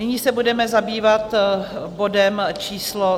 Nyní se budeme zabývat bodem číslo